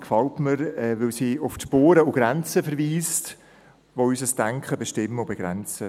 Sie gefällt mir, weil sie auf die Spuren und Grenzen verweist, die unser Denken bestimmen und begrenzen.